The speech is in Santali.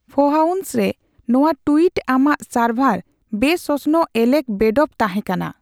ᱯᱷᱚᱦᱟᱣᱥ ᱨᱮ ᱱᱚᱣᱟ ᱴᱩᱭᱤᱴ ᱟᱢᱟᱜ ᱥᱟᱨᱵᱷᱟᱨ ᱵᱮᱼᱥᱚᱥᱱᱚᱜ ᱮᱞᱮᱠ ᱵᱮᱰᱯᱷᱚ ᱛᱟᱦᱮᱸ ᱠᱟᱱᱟ